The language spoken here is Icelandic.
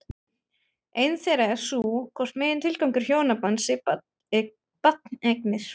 Ein þeirra er sú hvort megintilgangur hjónabands sé barneignir?